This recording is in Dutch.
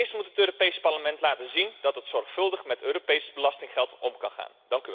Eerst moet het Europees Parlement laten zien dat het zorgvuldig met Europees belastinggeld om kan gaan.